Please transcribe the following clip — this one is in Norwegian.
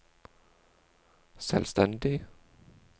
selvstendig